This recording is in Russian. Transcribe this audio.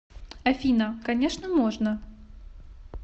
афина конечно можно